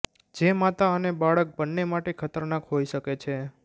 જે માતા અને બાળક બન્ને માટે ખતરનાક હોઇ શકે છે